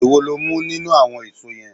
Èwo lo mú nínú àwon èso yen?